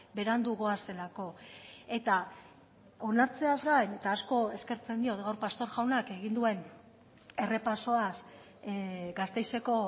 berandu goazelako eta onartzeaz gain eta asko eskertzen diot gaur pastor jaunak egin duen errepasoaz gasteizeko